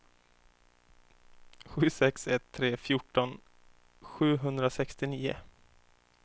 sju sex ett tre fjorton sjuhundrasextionio